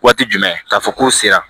Waati jumɛn k'a fɔ k'o sera